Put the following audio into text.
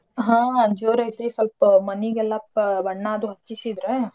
ಹಾ ಜೋರೈತ್ರಿ ಸ್ವಲ್ಪ ಮನಿಗೆಲ್ಲ ಬ~ ಬಣ್ಣ ಅದು ಹಚ್ಚಿಸಿದ್ರಾ.